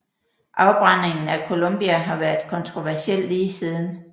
Afbrændingen af Columbia har været kontroversiel lige siden